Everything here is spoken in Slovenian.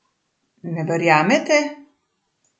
Ne verjamete?